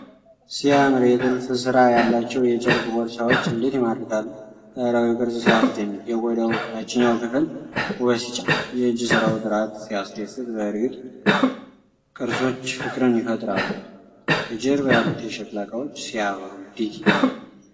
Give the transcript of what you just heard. ሲያምር! የጥልፍ ሥራ ያላቸው የጨርቅ ቦርሳዎች እንዴት ይማርካሉ! ባህላዊው ቅርፅ ሲያስደንቅ! የቆዳው ታችኛው ክፍል ውበት ሲጨምር! የእጅ ሥራው ጥራት ሲያስደስት! በእርግጥ ቅርሶች ፍቅርን ይፈጥራሉ! ከጀርባ ያሉት የሸክላ ዕቃዎች ሲያበሩ! እንዴት ይደነቃል!